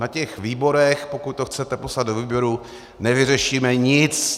Na těch výborech, pokud to chcete poslat do výboru, nevyřešíme nic.